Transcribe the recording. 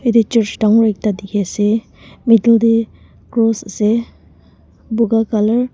ete church dangor ekta dikhi ase middle te cross ase buga colour .